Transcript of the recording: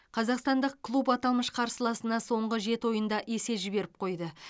қазақстандық клуб аталмыш қарсыласына соңғы жеті ойында есе жіберіп қойды